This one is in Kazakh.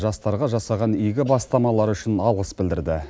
жастарға жасаған игі бастамалары үшін алғыс білдірді